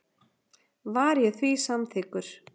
Var ég því samþykkur.